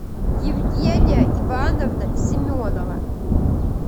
евгения ивановна семенова